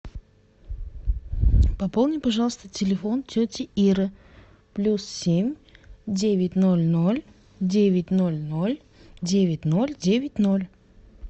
пополни пожалуйста телефон тети иры плюс семь девять ноль ноль девять ноль ноль девять ноль девять ноль